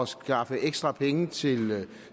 skaffe ekstra penge til